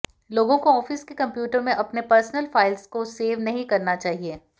लोगों को ऑफिस के कंप्यूटर में अपने पर्सनल फाइल्स को सेव नहीं करना चाहिए